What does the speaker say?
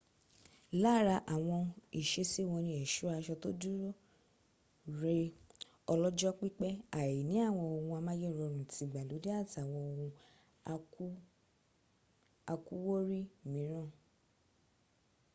lára àwọn ìsesí wọn ni ẹ̀ṣọ́ aṣọ tó dúró re ọlọ́jọ́ pípẹ́ àìní àwọn ohun amáyérọrùn tìgbàlódé àtàwọn ohun àkúwórí míràn